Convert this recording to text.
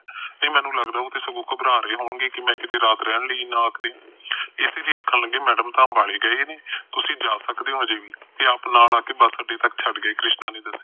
ਨਹੀ ਮੈਨੂੰ ਲੱਗਦਾ ਉਹ ਸਗੋ ਘਬਰਾ ਗਏ ਹੋਣਗੇ ਕਿ ਮੈ ਕਿਤੇ ਰਾਤ ਰਹਿਣ ਲਈ ਨਾ ਆਖਦੀ ਇਸ ਲਈ ਆਖਣ ਲੱਗੇ ਮੈਡਮ ਤਾ ਅੰਬਾਲੇ ਗਏ ਨੇ ਤੁਸੀ ਜਾ ਸਕਦੇ ਅਜੇ ਵੀ ਤੇ ਆਪ ਨਾਲ ਆਕੇ ਬੱਸ ਅੱਡੇ ਛੱਡ ਕੇ ਕ੍ਰਿਸ਼ਨਾ ਨੇ ਆਖਿਆ